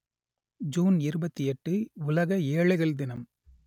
June இருபத்தி எட்டு உலக ஏழைகள் தினம்